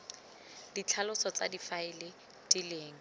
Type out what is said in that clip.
ditlhaloso tsa difaele di leng